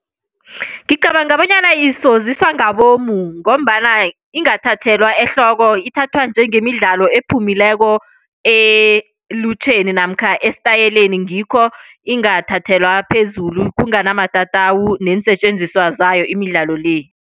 Ngicabanga bonyana isoziswa ngabomu ngombana ingathathelwa ehloko. Ithathwa njengemidlalo iphumileko elutjheni namkha esitayeleni ngikho ingathathelwa phezulu, kunganamatatawu neensetjenziswa zayo imidlalo le.